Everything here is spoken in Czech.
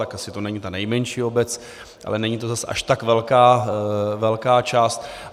Tak asi to není ta nejmenší obec, ale není to zase až tak velká část.